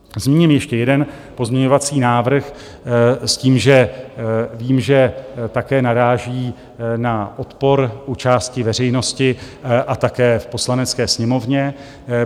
Zmíním ještě jeden pozměňovací návrh s tím, že vím, že také naráží na odpor u části veřejnosti a také v Poslanecké sněmovně.